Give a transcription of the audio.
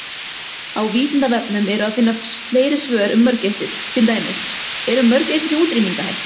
Á Vísindavefnum er að finna fleiri svör um mörgæsir, til dæmis: Eru mörgæsir í útrýmingarhættu?